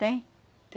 Tem.